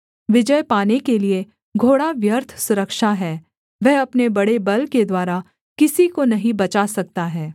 विजय पाने के लिए घोड़ा व्यर्थ सुरक्षा है वह अपने बड़े बल के द्वारा किसी को नहीं बचा सकता है